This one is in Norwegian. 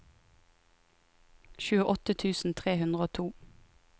tjueåtte tusen tre hundre og to